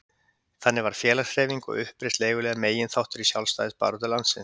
Þannig varð félagshreyfing og uppreisn leiguliða meginþáttur í sjálfstæðisbaráttu landsins.